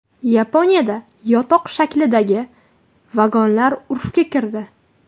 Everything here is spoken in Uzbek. Yaponiyada yotoq shaklidagi vagonlar urfga kirdi .